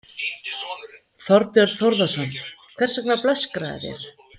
Þorbjörn Þórðarson: Hvers vegna blöskraði þér?